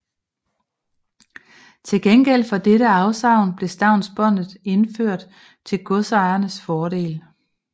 Til gengæld for dette afsavn blev stavnsbåndet indført til godsejernes fordel